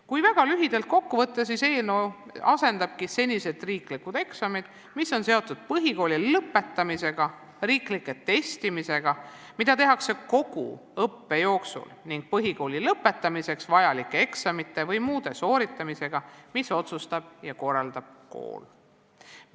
Kui väga lühidalt kokku võtta, siis eelnõu asendabki senised riiklikud eksamid, mis on seotud põhikooli lõpetamisega, riiklike testidega, mida tehakse kogu õppe jooksul, ning põhikooli lõpetamiseks vajalike eksamite või muude tööde sooritamisega, mille otsustab ja korraldab kool.